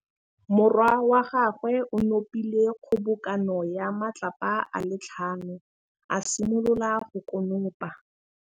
Morwa wa gagwe o nopile kgobokanô ya matlapa a le tlhano, a simolola go konopa.